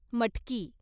मटकी